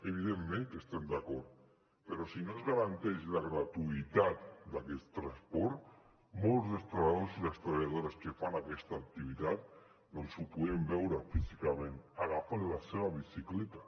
evidentment que hi estem d’acord però si no es garanteix la gratuïtat d’aquest transport molts dels treballadors i les treballadores que fan aquesta activitat ho podem veure físicament agafen la seva bicicleta